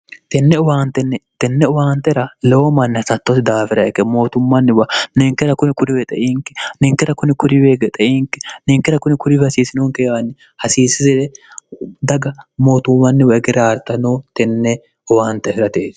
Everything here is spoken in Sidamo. tenne uwaantera lewo manni hasattosi daafira ike mootummanniwa ninkera kuni kuriwee xeinki ninkera kuni kuriweege xeinki ninkera kuni kuribi hasiisinonke aanni hasiisisire daga mootummanniwa egere aarta noo tenne uwaante firate